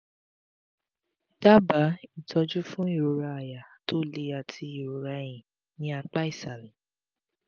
daba itọ́jú fún ìrora àyà to le àti ìrora ẹ̀yìn ní apá ìsàlẹ̀